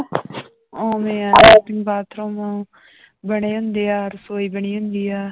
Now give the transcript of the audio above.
ਉਵੇਂ ਹੈ latrine bathroom ਬਣੇੇ ਹੁੰਦੇ ਆ ਰਸੌਈ ਬਣੀ ਹੁੰਦੀ ਆ।